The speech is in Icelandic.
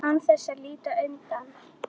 Án þess að líta undan.